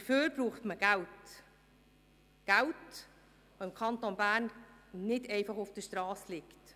Dazu braucht man Geld – Geld, das im Kanton Bern nicht einfach auf der Strasse liegt.